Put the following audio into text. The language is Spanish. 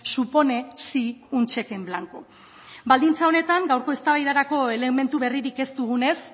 supone sí un cheque en blanco baldintza honetan gaurko eztabaidarako elementu berririk ez dugunez